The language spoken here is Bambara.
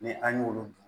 Ni an y'olu